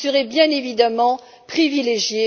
bien évidemment privilégiés.